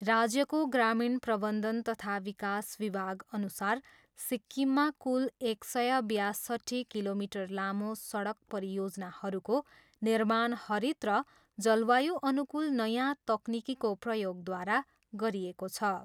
राज्यको ग्रामीण प्रबन्धन तथा विकास विभागअनुसार सिक्किममा कुल एक सय बयासट्ठी किलोमिटर लामो सडक परियोजनाहरूको निर्माण हरित र जलवायु अनुकूल नयाँ तकनिकीको प्रयोगद्वारा गरिएको छ।